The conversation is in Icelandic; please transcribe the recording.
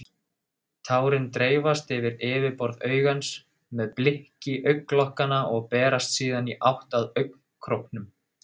Tárin dreifast yfir yfirborð augans með blikki augnlokanna og berast síðan í átt að augnkrókum.